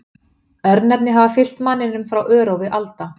Örnefni hafa fylgt manninum frá örófi alda.